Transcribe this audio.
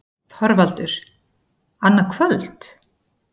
ÞORVALDUR: Annað kvöld?